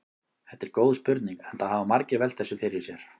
Þetta er góð spurning enda hafa margir velt þessu fyrir sér.